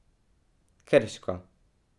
Krško.